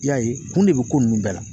I y'a ye kun de bɛ ko ninnu bɛɛ la.